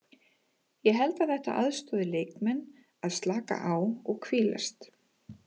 Ég held að þetta aðstoði leikmenn að slaka á og hvílast.